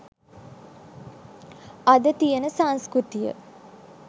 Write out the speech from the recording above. අද තියෙන සංස්කෘතිය.